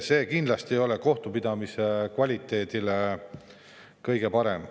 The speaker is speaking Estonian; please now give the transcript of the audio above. See kindlasti ei ole kohtupidamise kvaliteedile kõige parem.